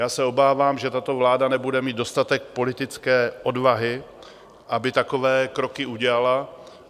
Já se obávám, že tato vláda nebude mít dostatek politické odvahy, aby takové kroky udělala.